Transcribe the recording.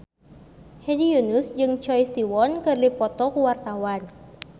Hedi Yunus jeung Choi Siwon keur dipoto ku wartawan